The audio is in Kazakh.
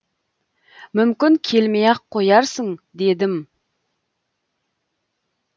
мүмкін келмей ақ қоярсың дедім